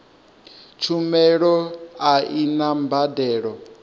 tshumelo a i na mbadelo